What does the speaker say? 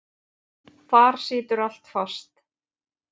Þar situr allt fast.